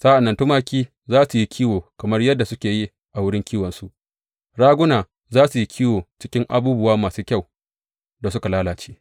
Sa’an nan tumaki za su yi kiwo kamar yadda suke yi a wurin kiwonsu; raguna za su yi kiwo cikin abubuwa masu kyau da suka lalace.